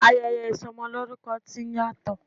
Ayẹyẹ ìsọmọlórúkọ ti ń yàtọ̀.